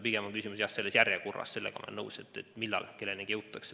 Pigem on küsimus, jah, selles järjekorras – sellega olen ma nõus –, et millal kellenigi jõutakse.